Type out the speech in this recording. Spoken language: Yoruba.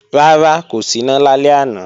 Rárá, kò síná lálẹ́ àná